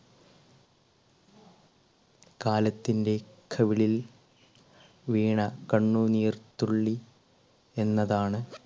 കാലത്തിൻറെ കവിളിൽ വീണ കണ്ണുനീർത്തുള്ളി എന്നതാണ്